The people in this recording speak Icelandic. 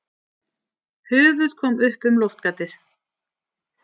Höfuð kom upp um loftgatið.